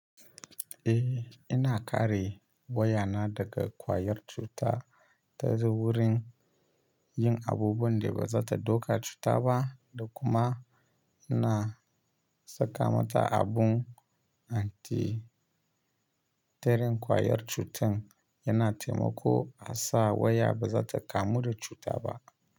Eh, ina kare wayana daga kwayar cuta ta zu wurin yin abubuwan da ba za ta doka cuta ba, da kuma ina saka mata abun anti terin kwayar cutan, yana taimako a sa waya ba za ta kamu da cuta ba.